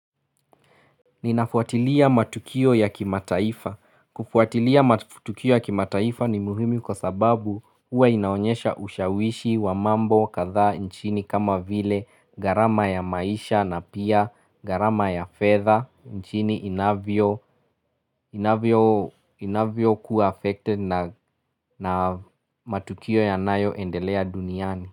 Ninafuatilia matukio ya kimataifa. Kufuatilia matukio ya kimataifa ni muhimu kwa sababu huwa inaonyesha ushawishi wa mambo kadhaa nchini kama vile garama ya maisha na pia garama ya fedha nchini inavyo inavyo kuwa affected na matukio yanayoendelea duniani.